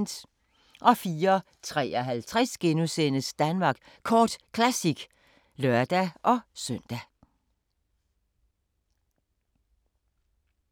04:53: Danmark Kort Classic *(lør-søn)